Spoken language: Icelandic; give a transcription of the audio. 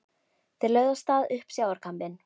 Þeir lögðu af stað upp sjávarkambinn.